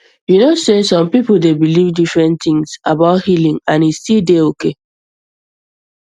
you know sey people dey believe different things about healing and e still dey okay